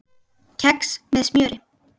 Kex með smjöri